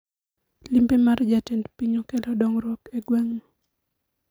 Limbe mar jatend piny okelo dongruok e gweng no